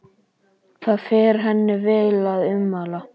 Það fer henni vel að umla.